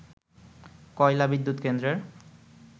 কয়লা বিদ্যুৎ কেন্দ্রের